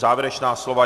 Závěrečná slova.